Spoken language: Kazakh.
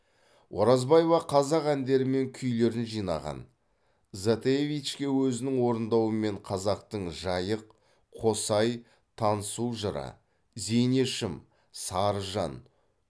оразбаева қазақ әндері мен күйлерін жинаған затаевичке өзінің орындауымен қазақтың жайық қосай танысу жыры зейнешім сарыжан